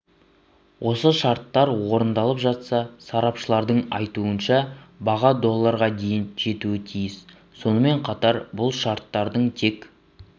осы шарттар орындалып жатса сарапшылардың айтуынша баға долларға дейін жетуі тиіс сонымен қатар бұл шарттардың тек